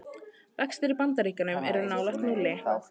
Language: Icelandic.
Vextir í Bandaríkjum er nálægt núlli